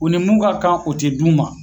U ni mun ka kan o ti d'u ma